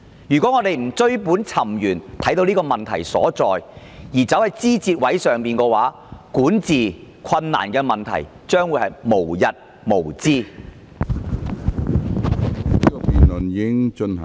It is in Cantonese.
如果我們不追本尋源以看出問題所在，卻着眼於枝節，管治困難的問題日後將會無日無之。